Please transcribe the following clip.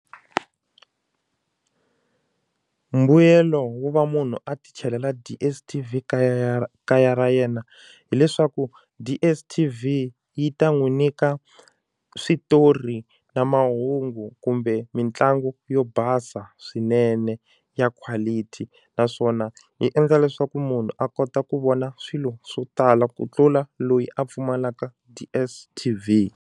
Mbuyelo wo va munhu a ti chelela DSTV kaya ra kaya ra yena hileswaku DSTV yi ta n'wi nyika switori na mahungu kumbe mitlangu yo basa swinene ya quality naswona yi endla leswaku munhu a kota ku vona swilo swo tala ku tlula loyi a pfumalaka DSTV.